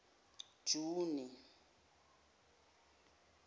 juni